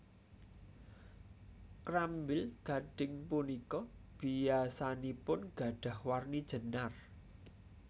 Krambil gadhing punika biyasanipun gadhah warni jenar